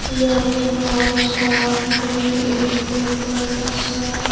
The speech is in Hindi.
यहां सामने एक बड़ा सा--